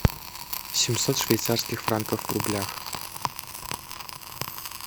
семьсот швейцарских франков в рублях